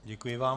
Děkuji vám.